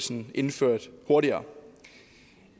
den indført hurtigere